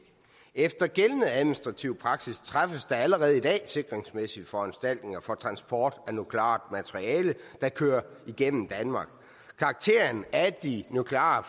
efter gældende administrativ praksis træffes der allerede i dag sikringsmæssige foranstaltninger for transport af nukleart materiale der kører igennem danmark karakteren af de nukleare